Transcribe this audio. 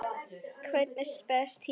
Hvernig spes týpa?